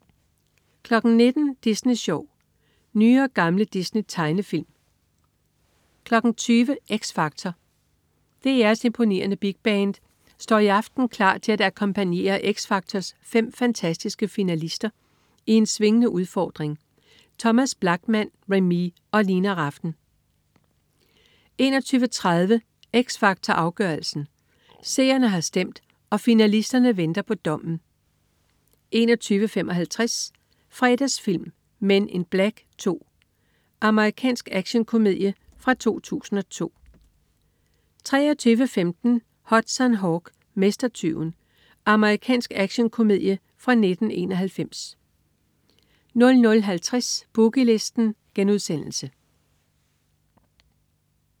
19.00 Disney Sjov. Nye og gamle Disney-tegnefilm 20.00 X Factor. DR's imponerende Big Band står i aften klar til at akkompagnere X Factors fem fantastiske finalister i en swingende udfordring. Thomas Blachman, Remee og Lina Rafn 21.30 X Factor Afgørelsen. Seerne har stemt, og finalisterne venter på dommen 21.55 Fredagsfilm: Men in Black 2. Amerikansk actionkomedie fra 2002 23.15 Hudson Hawk, Mestertyven. Amerikansk actionkomedie fra 1991 00.50 Boogie Listen*